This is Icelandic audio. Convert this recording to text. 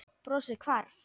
Brosið hvarf.